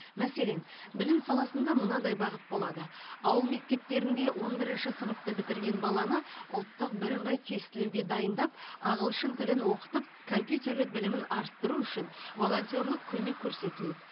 мәселен білім саласында мынадай бағыт болады ауыл мектептерінде он бірінші сыныпты бітірген баланы ұлттық бірыңғай тестілеуге дайындап ағылшын тілін оқытып компьютерлік білімін арттыру үшін волонтерлық көмек көрсетіледі